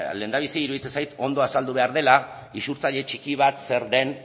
lehendabizi iruditzen zait ondo azaldu behar dela isurtzaile txiki bat zer den